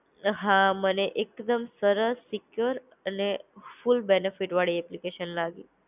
હા મને એક દમ સરસ સેકયોર અને ખુબ બેનેફિટ વાળી એપ્લિકેશન લાગી